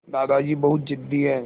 दादाजी बहुत ज़िद्दी हैं